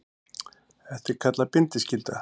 Þetta er kallað bindiskylda.